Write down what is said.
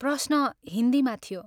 " प्रश्न हिन्दीमा थियो।